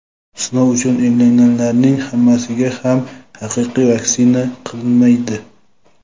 sinov uchun emlanganlarning hammasiga ham haqiqiy vaksina qilinmaydi.